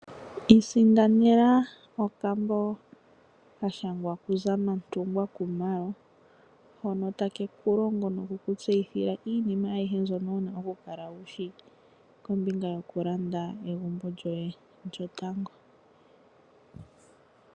Isindanena okambo ka shangwa kuZamantungwa Khumalo hono take ku longo noku ku tseyithila iinima ayihe mbyono wu na okukala wu shi kombinga yokulanda egumbo lyoye lyotango.